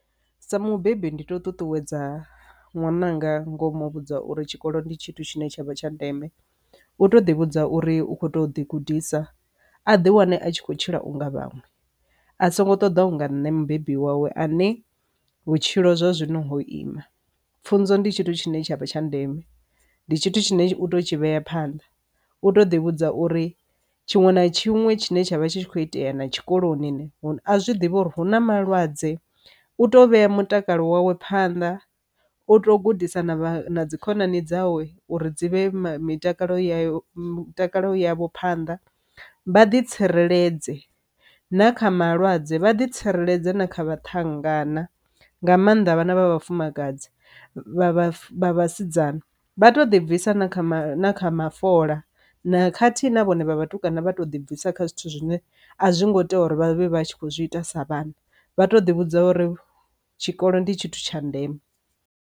Sa mubebi ndi to ṱuṱuwedza ṅwananga ngomu vhudza uri tshikolo ndi tshithu tshine tshavha tsha ndeme, u to ḓi vhudza uri u kho ṱo ḓi gudisa a ḓi wane a tshi khou tshila unga vhaṅwe a songo ṱoḓa unga nṋe mubebi wawe a ne vhutshilo zwa zwino ima. Pfhunzo ndi tshithu tshine tshavha tsha ndeme ndi tshithu tshine u to tshi vhea phanḓa u to ḓi vhudza uri tshiṅwe na tshiṅwe tshine tsha vha tshi kho itea na tshikoloni a zwi ḓivha uri hu na malwadze u to vhea mutakalo wawe phanḓa, u to gudisa na dzi khonani dzawe uri dzi vhe mitakalo ya mitakalo yavho phanḓa vha ḓi tsireledze na kha malwadze vha ḓi tsireledze na kha vhathu vhangana nga mannḓa vhana vha vhafumakadzi vha vhafha vhasidzana. Vha to ḓi bvisa na kha kha mafola na khathihi na vhone vha vhathu kana vha to ḓibvisa kha zwithu zwine a zwi ngo tea uri vhavhe vha tshi kho zwi ita sa vhana vha to ḓi vhudza uri tshikolo ndi tshithu tsha ndeme.